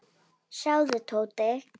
Sjáðu, Tóti.